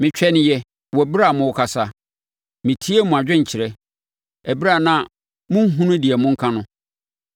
Metwɛneeɛ wɔ ɛberɛ a morekasa, metiee mo adwenkyerɛ; ɛberɛ a na monhunu deɛ monka no,